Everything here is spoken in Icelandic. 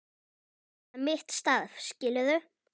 Það er bara mitt starf, skilurðu.